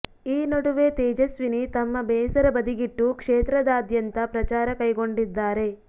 ಈ ನಡುವೆ ತೇಜಸ್ವಿನಿ ತಮ್ಮ ಬೇಸರ ಬದಿಗಿಟ್ಟು ಕ್ಷೇತ್ರದಾದ್ಯಂತ ಪ್ರಚಾರ ಕೈಗೊಂಡಿದ್ದಾರೆ